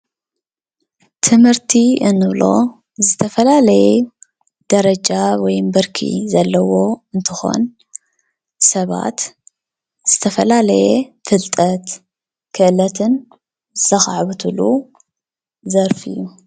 ትምህርቲ እንብሎ ዝተፈላለየ ደረጃ ወይ ብርኪ ዘለዎ እንትኾን ሰባት ዝተፈላለየ ፍልጠት፣ ክእለትን ዘካዕብትሉ ዘርፊ እዩ።